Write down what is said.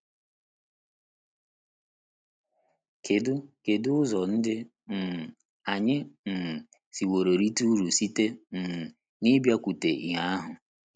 Kedu Kedu ụzọ ndị um anyị um siworo rite uru site um n’ịbịakwute ìhè ahụ?